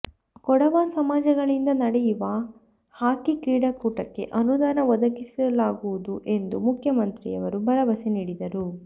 ಕೊಡವ ಸಮಾಜಗಳಿಂದ ನಡೆಯುವ ಹಾಕಿ ಕ್ರೀಡಾಕೂಟಕ್ಕೆ ಅನುದಾನ ಒದಗಿಸಲಾಗುವುದು ಎಂದು ಮುಖ್ಯಮಂತ್ರಿಯವರು ಭರವಸೆ ನೀಡಿದರು